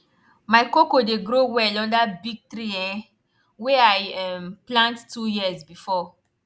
my cocoa dey grow well under big tree um wey i um plant two years before